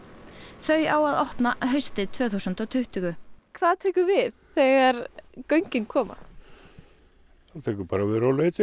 þau á að opna haustið tvö þúsund og tuttugu hvað tekur við þegar göngin koma taka bara við rólegheitin